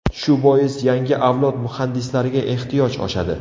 Shu bois yangi avlod muhandislariga ehtiyoj oshadi.